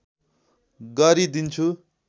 गरि दिन्छु